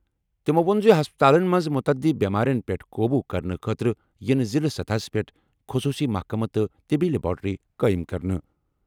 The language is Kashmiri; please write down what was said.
تِمَو ووٚن زِ ہسپتالَن منٛز متعدی بیمارٮ۪ن پٮ۪ٹھ قوبوٗ کرنہٕ خٲطرٕ یِن ضِلعہٕ سطحس پٮ۪ٹھ خصوٗصی محکمہٕ تہٕ طبی لیبارٹریہِ قٲیِم کرنہٕ۔